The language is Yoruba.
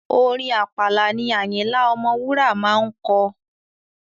Orin Àpàlà ni Àyìnlá Ọmọwúrà máa ń kọ.